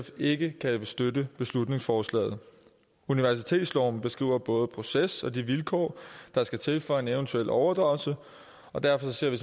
ikke kan støtte beslutningsforslaget universitetsloven beskriver både proces og de vilkår der skal til for en eventuel overdragelse og derfor ser vi